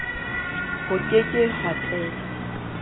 ho ke ke ha tellwa